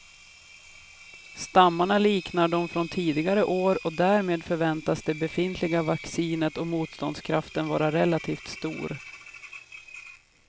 Stammarna liknar de från tidigare år och därmed förväntas det befintliga vaccinet och motståndskraften vara relativt stor.